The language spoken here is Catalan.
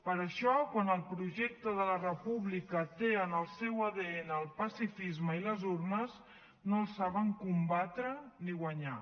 per això quan el projecte de la república té en el seu adn el pacifisme i les urnes no el saben combatre ni guanyar